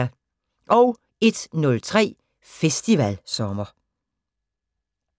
01:03: Festivalsommer